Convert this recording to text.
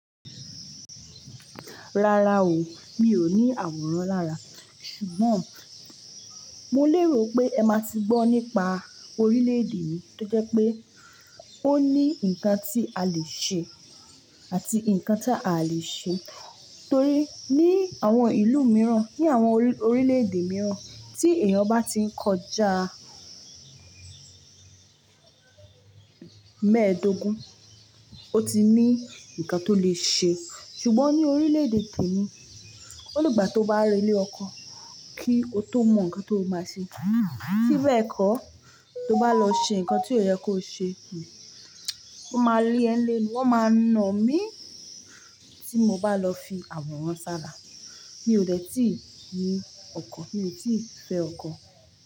Rárá o, mi ò ní àwòrán lára. Ṣùgbọ́n mo lérò pé ẹ máa ti gbọ́ nípa orílẹ̀-èdè yii tó jẹ́ pé ó ní ǹkan tí a lè ṣe àti ǹkan tí a lè ṣe. Torí ní àwọn ìlú mìíràn, ní àwọn orílẹ̀-èdè mìíràn tí èèyàn bá ti ń kọjá mẹ́ẹ̀ẹ́dógún, ó ti ní ǹkan tó lè ṣe. Ṣùgbọ́n ní orílẹ̀-èdè temi, ó ní ìgbà tó bá re íle ọkọ kí o tó mọ ǹkan tó máa ṣe. Bí bẹ́ẹ̀ kọ́, tó bá lọ ṣe ǹkan tí ò yẹ kó ṣe, wọ́n máa lé ẹ́ nlé, wọ́n máa na mí tí mo bá lọ fi àwòrán sára. Mi ò dẹ̀ tíì ní ọkọ̀, mi ò tíì fẹ́ ọkọ.